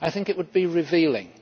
I think it would be revealing.